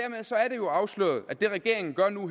jo afsløret at det regeringen gør nu